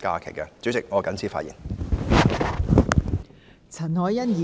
代理主席，我謹此陳辭。